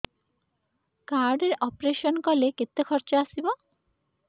card ରେ operation କଲେ କେତେ ଖର୍ଚ ଆସିବ